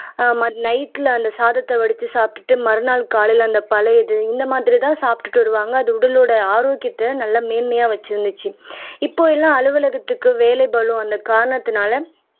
ஆஹ் மத் நைட்ல அந்த சாதத்தை வடிச்சு சாப்பிட்டுட்டு மறுநாள் காலையில அந்த பழையது இந்த மாதிரிதான் சாப்பிட்டுட்டு வருவாங்க அது உடலோட ஆரோக்கியத்தை, நல்லா மேன்மையா வச்சிருந்துச்சு இப்ப எல்லாம் அலுவலகத்துக்கு வேலை பளு வந்த காரணத்தினால